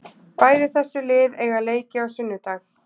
Bæði þessi lið eiga leiki á sunnudag.